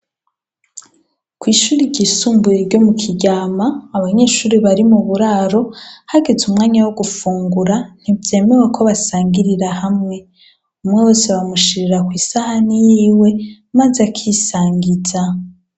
Kw' ishuri ry isumbuye ryo mu Kiryama ,abanyeshure bari mu buraro hageze umwanya wo gufungura ntivyemewe ko basangirira hamwe ,umwe wese bamushirira kw' isahani yiwe, maz' akisangiza.